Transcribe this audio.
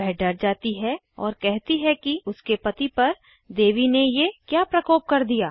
वह डर जाती है और कहती है कि उसके पति पर देवी ने ये क्या प्रकोप कर दिया